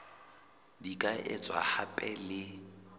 di ka etswa hape le